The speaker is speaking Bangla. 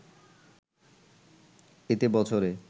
এতে বছরে